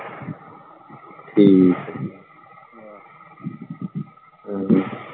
ਹਮ ਹਮ